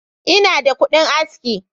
Ina da kudin aski.